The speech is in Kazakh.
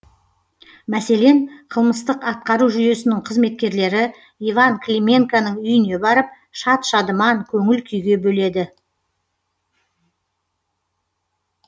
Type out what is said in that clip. мәселен қылмыстық атқару жүйесінің қызметкерлері иван клименконың үйіне барып шат шадыман көңіл күйге бөледі